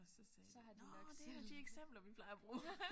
Og så sagde de nåh det er et af de eksempler vi plejer at bruge